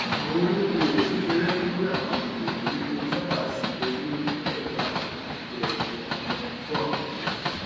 àwọn olókoòwò kékeré ní àwọn àgbègbè ìgbèríko sábà simi lé igbẹkẹlé àwọn ẹgbẹ ìfowopamọ fún ààbò owó